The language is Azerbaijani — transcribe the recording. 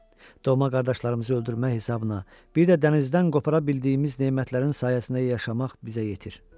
Dövmə qardaşlarımızı öldürmək hesabına, bir də dənizdən qopara bildiyimiz nemətlərin sayəsində yaşamaq bizə yetir.